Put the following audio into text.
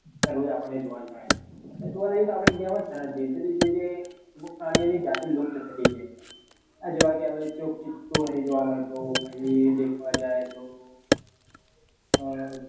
દરરોઝ આપણ ને જોવા જ મળે જોવા જઈએ તો આપડ ઇન્ડિયા માં અમુક પ્રાણીઓ ની જતી લુપ્ત થતી જાય છે આ જો હવે હવે ચિત્તો નઈ જોવા મળતો પાહિ દેખવા જાય તો